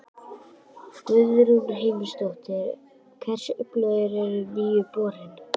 Guðrún Heimisdóttir: Hversu öflugur er nýi borinn?